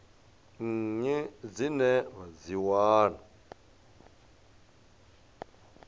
nnyi dzine vha dzi wana